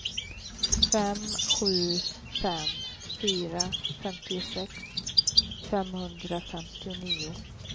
fem sju fem fyra femtiosex femhundrafemtionio